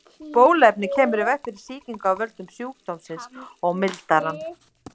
Bóluefnið kemur í veg fyrir sýkingu af völdum sjúkdómsins og mildar hann.